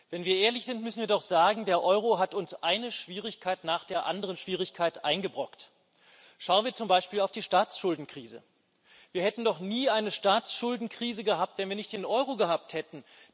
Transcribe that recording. Wenn wir ehrlich sind, müssen wir doch sagen, der Euro hat uns eine Schwierigkeit nach der anderen eingebrockt. Schauen wir zum Beispiel auf die Staatsschuldenkrise Wir hätten doch nie eine Staatsschuldenkrise gehabt, wenn wir nicht den Euro gehabt hätten.